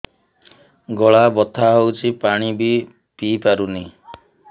ଗଳା ବଥା ହଉଚି ପାଣି ବି ପିଇ ପାରୁନି